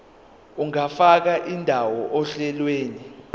ungafaka indawo ohlelweni